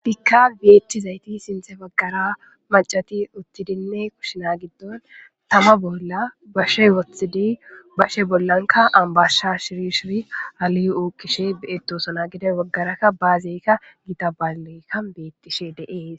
dhikka beetti zayti sinthe waggara macati uttidinne kushina giddon tama bolla bashe wothtidi bashe bollanka ambasha shirishiri ali7ukkishe betosona gida waggarakka baazeykka gita balekka beettishe deees